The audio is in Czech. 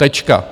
Tečka.